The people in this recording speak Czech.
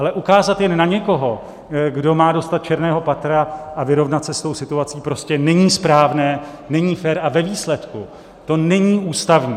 Ale ukázat jen na někoho, kdo má dostat černého Petra a vyrovnat se s tou situací, prostě není správné, není fér a ve výsledku to není ústavní.